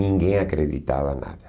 Ninguém acreditava nada.